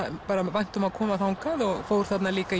vænt um að koma þangað og fór þarna líka í